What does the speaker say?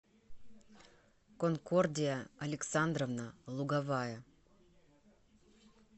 конкордия александровна луговая